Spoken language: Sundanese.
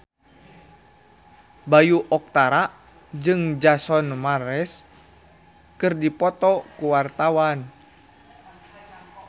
Bayu Octara jeung Jason Mraz keur dipoto ku wartawan